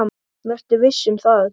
Vertu viss um það.